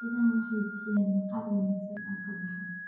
Idaha waxay bixiyaan maqaar wanaagsan oo kabaha.